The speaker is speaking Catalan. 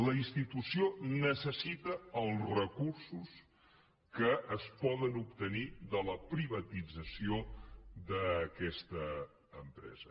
la institució necessita els recursos que es poden obtenir de la privatització d’aquesta empresa